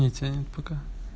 не тянет пока